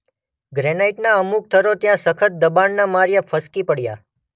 ગ્રેનાઇટના અમુક થરો ત્યાં સખત દબાણના માર્યા ફસકી પડ્યા.